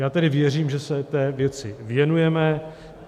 Já tedy věřím, že se té věci věnujeme.